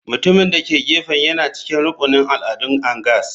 Mutumin da ke gefen yana cikin rukunin al'adun angas.